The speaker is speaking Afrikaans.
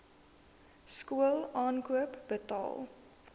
skool aankoop betaal